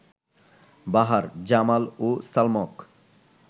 বাহার, জামাল ও সালমক